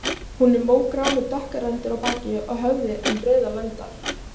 Hún er mógrá með dökkar rendur á baki og höfði en rauðar lendar.